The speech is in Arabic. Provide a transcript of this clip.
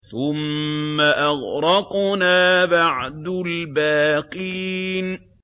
ثُمَّ أَغْرَقْنَا بَعْدُ الْبَاقِينَ